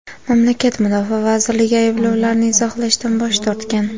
Mamlakat mudofaa vazirligi ayblovlarni izohlashdan bosh tortgan.